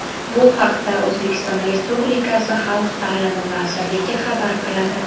Bu haqda O‘zbekiston Respublikasi Xalq ta’limi vazirligi xabar qiladi .